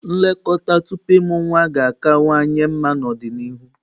Nlekọta tupu ịmụ nwa ga-akawanye mma n'ọdịnihu